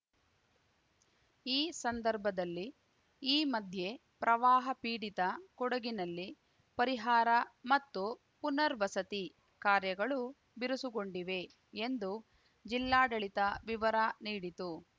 ಈ ಸದರ್ಭದಲ್ಲಿ ಈ ಮಧ್ಯೆ ಪ್ರವಾಹ ಪೀಡಿತ ಕೊಡಗಿನಲ್ಲಿ ಪರಿಹಾರ ಮತ್ತು ಪುನರ್ವಸತಿ ಕಾರ್ಯಗಳು ಬಿರುಸುಗೊಂಡಿವೆ ಎಂದು ಜಿಲ್ಲಾಡಳಿತ ವಿವರ ನೀಡಿತು